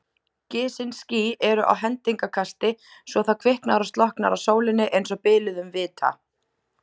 Gisin ský eru á hendingskasti svo það kviknar og slokknar á sólinni einsog biluðum vita.